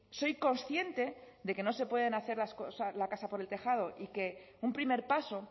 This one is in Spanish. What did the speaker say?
soy consciente de que no se puede hacer la casa por el tejado y que un primer paso